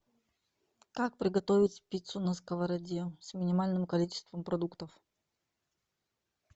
как приготовить пиццу на сковороде с минимальным количеством продуктов